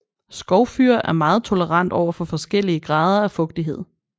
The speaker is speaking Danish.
Skovfyr er meget tolerant overfor forskellige grader af fugtighed